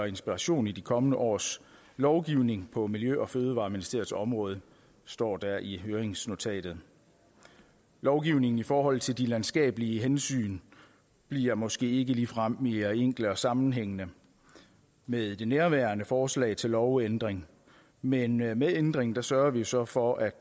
inspiration i de kommende års lovgivning på miljø og fødevareministeriets område står der i høringsnotatet lovgivningen i forhold til de landskabelige hensyn bliver måske ikke ligefrem mere enkel og sammenhængende med det nærværende forslag til lovændring men med med ændringen sørger vi jo så for at